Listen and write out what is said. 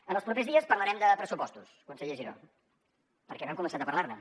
en els propers dies parlarem de pressupostos conseller giró perquè no hem començat a parlar ne